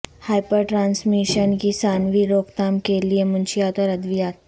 hyper transmission کی ثانوی روک تھام کے لئے منشیات اور ادویات